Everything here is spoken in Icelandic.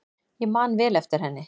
Ég man vel eftir henni.